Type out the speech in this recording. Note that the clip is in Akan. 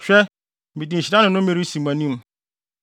Hwɛ, nnɛ mede nhyira ne nnome resi mo anim;